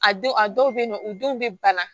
A don a dɔw bɛ yen nɔ u denw bɛ bana